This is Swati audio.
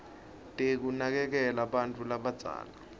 tekunakekela bantfu labadzala